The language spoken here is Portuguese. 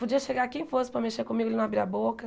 Podia chegar quem fosse para mexer comigo, ele não abria a boca.